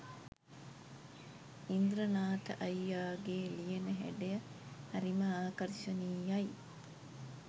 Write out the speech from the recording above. ඉන්ද්‍රනාත අයියාගේ ලියන හැඩය හරිම ආකර්ශනීයයි